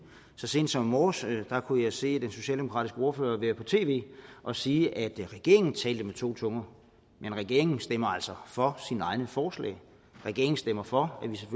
så sent som i morges kunne jeg se den socialdemokratiske ordfører være på tv og sige at regeringen talte med to tunger men regeringen stemmer altså for sine egne forslag regeringen stemmer for